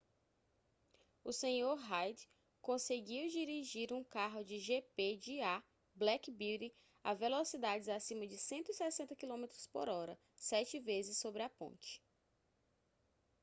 o senhor reid conseguiu dirigir um carro de gp de a black beauty a velocidades acima de 160 km/h sete vezes sobre a ponte